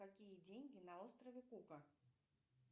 какие деньги на острове кука